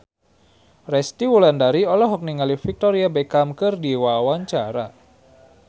Resty Wulandari olohok ningali Victoria Beckham keur diwawancara